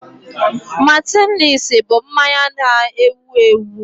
Martinelissi bụ mmanya na-ewu ewu